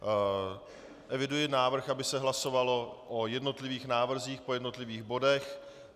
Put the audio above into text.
Eviduji návrh, aby se hlasovalo o jednotlivých návrzích po jednotlivých bodech.